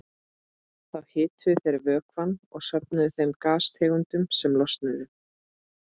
Þá hituðu þeir vökvann og söfnuðu þeim gastegundum sem losnuðu.